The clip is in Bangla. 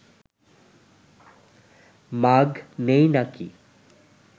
মাগ নেই নাকি